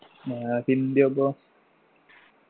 ആഹ് ഹിന്ദിയോ അപ്പൊ